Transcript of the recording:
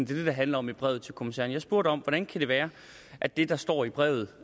det handler om i brevet til kommissæren jeg spurgte om hvordan det kan være at det der står i brevet